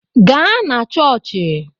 Gaa na chọọchị!